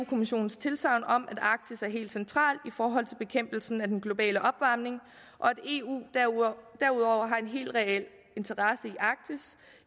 kommissionens tilsagn om at arktis er helt central i forhold til bekæmpelsen af den globale opvarmning og at eu derudover har en helt reel interesse